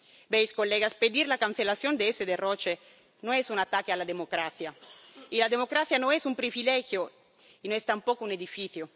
Señorías, pedir la cancelación de ese derroche no es un ataque a la democracia, y la democracia no es un privilegio ni es tampoco un edificio.